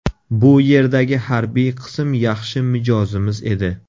Bu yerdagi harbiy qism yaxshi mijozimiz edi.